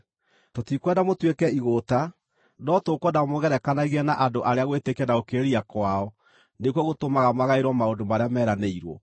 Tũtikwenda mũtuĩke igũũta, no tũkwenda mwĩgerekanagie na andũ, arĩa nĩ ũndũ wa gwĩtĩkia na gũkirĩrĩria kwao nĩkuo gũtũmaga magaĩrwo maũndũ marĩa meranĩirwo.